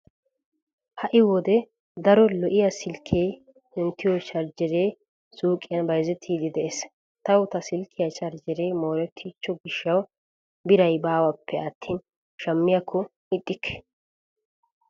Ha"i wode daro lo'iya silkke kunttiyo charjjeree suuqiyan bayzettiiddi dees. Tawu ta silkkiya charjjeree moorettiichcho gishshawu biray baawappe attin shammiyakko ixxikke.